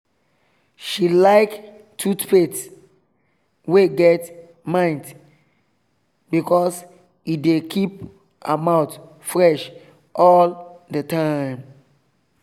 she like toothpaste wey get mint because e dey keep her mouth fresh all all day